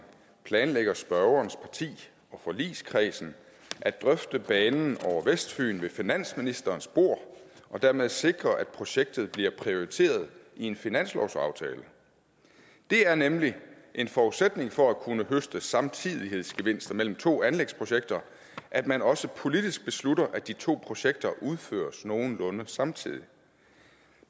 planlægger spørgerens parti og forligskredsen at drøfte banen over vestfyn ved finansministerens bord og dermed sikre at projektet bliver prioriteret i en finanslovsaftale det er nemlig en forudsætning for at kunne høste samtidighedsgevinster mellem to anlægsprojekter at man også politisk beslutter at de to projekter udføres nogenlunde samtidig